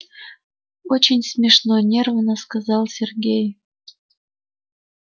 очень смешно нервно сказал сергей